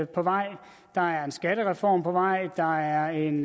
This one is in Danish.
på vej der er en skattereform på vej der er en